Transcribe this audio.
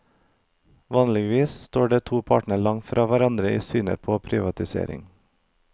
Vanligvis står de to partiene langt fra hverandre i synet på privatisering.